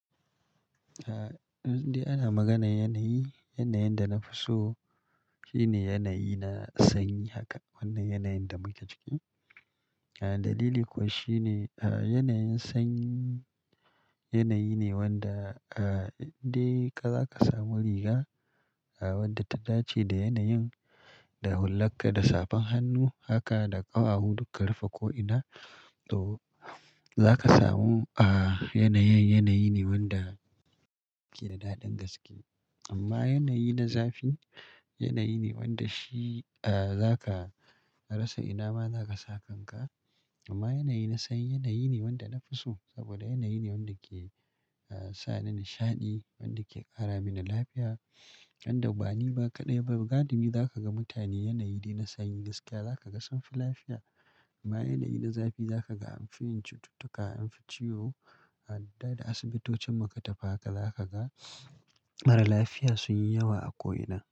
Indai ana maganar yanayi, yanayin da na fi so shine yanayi na sanyi haka, wannan yanayin da muke ciki. Dalili kuwa shine yanayin sanyi yanayi ne wanda inda ka za ka samu riga wadda ta dace da yanayin, da hullakka, da safan hannu haka, da ƙawawu duk ka rufe ko'ina. To, za ka samu a yanayin, yanayi ne wanda ke da daɗin gaske. Amma yanayi na zafi yanayi ne wanda shi za ka rasa ina ma za ka sa kanka. Amma yanayi na sanyi yanayi ne wanda na fi so saboda yanayi ne wanda ke sa ni nishaɗi, wanda ke ƙara mini lafiya, wanda ba ni ba kaɗai ba, ga dumi za ka ga mutane yanayi dai na sanyi gaskiya za ka ga sun fi lafiya. Amma yanayi na zafi za ka ga an fi yin cututtuka, an fi ciwo, har ma dai asibitocin idan muka tafi haka za ka ga maralafiya sun yi yawa a ko'ina.